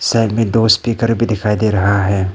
Side में दो speaker भी दिखाई दे रहा है।